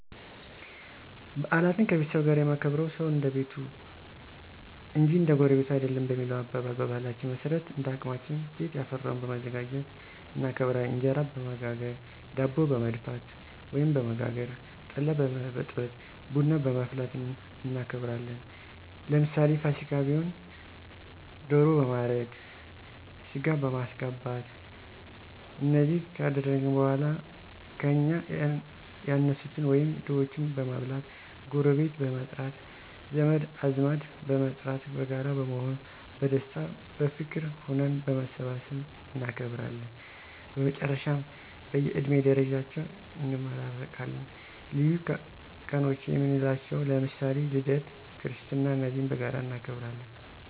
ባዓላትን ከቤተሰብ ጋር የማከብርዉ ሰዉ እንደቤቱ እንጅ እንደጎረቤቱ አይደለም በሚለዉ አባባል፣ በባህላችን መሠረት እንደአቅማችን ቤትያፈራዉን በማዘጋጁት እናከብራለን። እንጀራበመጋገር፣ ዳቦበመድፍት፣ ወይም በመጋገር፣ ጠላበመዘ ጠላበመበጥበጥ፣ ቡናበማፍላትእናከብራለን። ለምሳሌ ፍሲካ ቢሆን ደሮ በማረድ፣ ሥጋበማስገባት እነዚህ ካደአግን በኀላ ከእኛ ያነሱትን ወይም ድሆችን በማብላት፣ ጎረቤት በመጥራት፣ ዘመድአዝማድበመጥራት በጋራ በመሆን በደስታ፣ በፍቅር ሁነን በማሠባሠብ እናከብራለን። በመጨረሻም በእየድሜ ደረጃቸው እንመራረቃለን። ልዪ ቀኖችየምንላቸዉ ለምሳሌ ልደት ክርስትና እነዚህም በጋራ እናከብራለን።